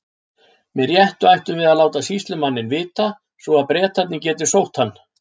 Með réttu ættum við að láta sýslumanninn vita, svo að Bretarnir geti sótt hann.